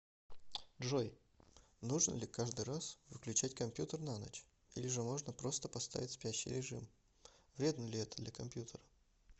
джой нужно ли каждый раз выключать компьютер на ночь или же можно просто поставить спящий режим вредно ли это для компьютера